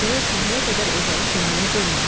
Gərək səhərə qədər ocağı sönməyə qoymayaq.